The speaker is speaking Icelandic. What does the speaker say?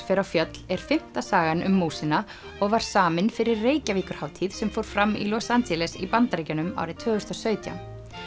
fer á fjöll er fimmta sagan um músina og var samin fyrir sem fór fram í Los Angeles í Bandaríkjunum árið tvö þúsund og sautján